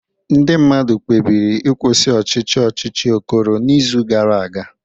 Ndị mmadụ kpebiri ịkwụsị ọchịchị ọchịchị Okoro n'izu gara aga